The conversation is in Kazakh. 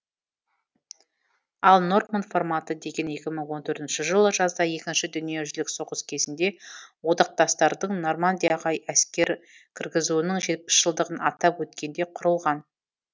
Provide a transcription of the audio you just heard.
ал норманд форматы деген екі мың он төртінші жылы жазда екінші дүниежүзілік соғыс кезінде одақтастардың нормандияға әскер кіргізуінің жетпіс жылдығын атап өткенде құрылған